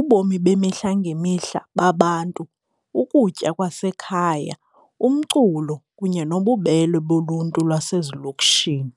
ubomi bemihla ngemihla babantu, ukutya kwasekhaya umculo kunye nobubele boluntu lwasezilokishini.